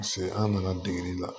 Paseke an nana degeli la